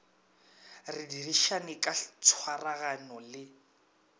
re dirišane ka tshwaragano le